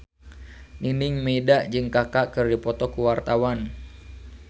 Nining Meida jeung Kaka keur dipoto ku wartawan